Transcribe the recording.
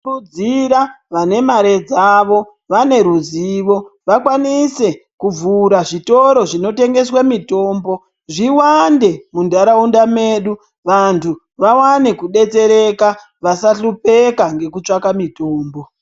Tinokurudzira vane mare dzavo vane ruzivo vakwanise kuvhura zvitoro zvinotengeswe mitombo zviwande munharaunda medu vantu vawane kudetsereka vasahlupeka ngekutsvake mitombo.